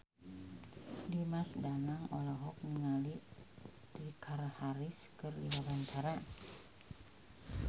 Dimas Danang olohok ningali Richard Harris keur diwawancara